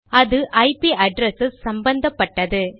அது IP address சம்பந்தப்பட்டது